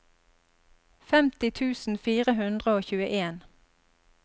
femti tusen fire hundre og tjueen